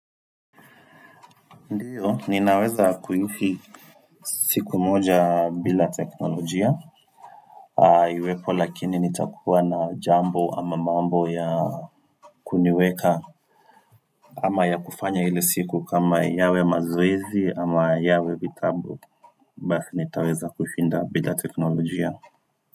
Ndio, ninaweza kuishi siku moja bila teknolojia Iwepo lakini nitakuwa na jambo ama mambo ya kuniweka ama ya kufanya ile siku kama yawe mazoezi ama yawe vitabu basi nitaweza kushinda bila teknolojia.